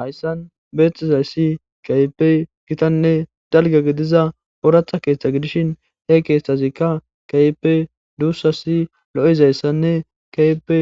Hayssan beexxizayssi kaypey gitanne dalga gidiza ooratha keeththa gidishin he keeththazikka kaype duussasi lo7izayssanne kaype